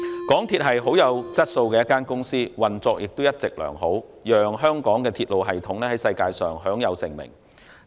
港鐵公司是甚具質素的公司，運作一直良好，讓香港的鐵路系統在世界上享有盛名。